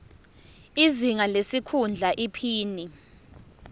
izinga lesikhundla iphini